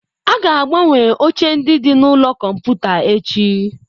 A ga-agbanwe oche ndị dị na ụlọ kọmputa echi.